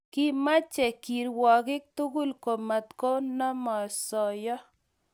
Kimache kirwakik tugul komatkonamosoya